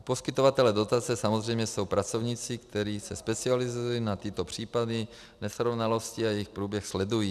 Poskytovatelé dotace samozřejmě jsou pracovníci, kteří se specializují na tyto případy, nesrovnalosti a jejich průběh sledují.